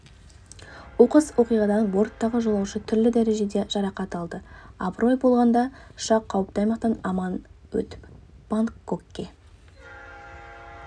оқыс оқиғадан борттағы жолаушы түрлі дәрежеде жарақат алды абырой болғанда ұшақ қауіпті аймақтан аман өтіп бангкокке